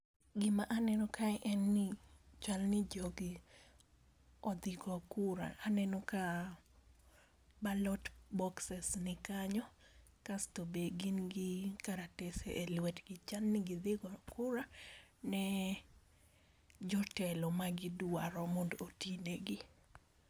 Gi ma aneno kae en ni chal ni ji ne odhi go kura, aneno ka ballot boxes ni kanyo kasto be gin gi karatase e lwetgi, chal ni gi dhi go kura ne jotelo ma gi dwaro mondo oti ne gi.